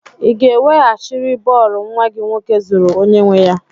Ị ga-ewehachiri bọọlụ nwa gị nwoke zuru onye nwe ya?